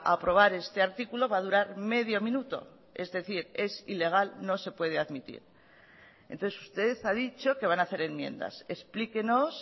aprobar este artículo va a durar medio minuto es decir es ilegal no se puede admitir entonces usted ha dicho que van a hacer enmiendas explíquenos